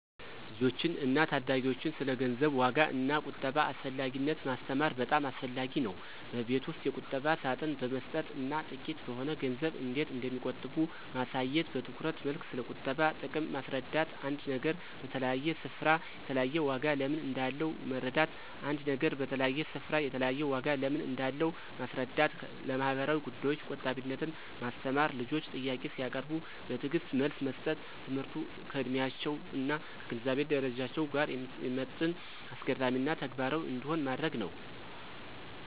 ልጆችን እና ታዳጊዎችን ስለ ገንዘብ ዋጋ እና ቁጠባ አስፈላጊነት ማስተማር በጣም አስፈላጊ ነው። በቤት ውስጥ የቁጠባ ሳጥን በመስጠት እና ጥቂት በሆነ ገንዘብ እንዴት እንደሚቆጥቡ ማሳየት። በትረት መልክ ስለቁጠባ ጥቅም ማስረዳት። አንድ ነገር በተለያየ ስፍራ የተለያየ ዋጋ ለምን እንዳለው መረዳት ·አንድ ነገር በተለያየ ስፍራ የተለያየ ዋጋ ለምን እንዳለው ማስረዳት። ለማህበራዊ ጉዳዮች ቆጣቢነትን ማስተማር። ልጆች ጥያቄ ሲያቀርቡ በትዕግስት መልስ መስጠት። ትምህርቱ ከዕድሜያቸው እና ከግንዛቤ ደረጃቸው ጋር የሚመጥን፣ አስገራሚ እና ተግባራዊ እንዲሆን ማድረግ ነው።